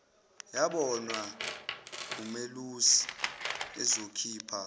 yabonwa ngumelusi ezokhipha